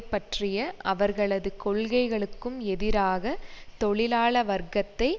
பற்றிய அவர்களது கொள்கைகளுக்கும் எதிராக தொழிலாள வர்க்கத்தை